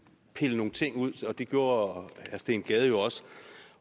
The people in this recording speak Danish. pille nogle ting ud og det gjorde herre steen gade også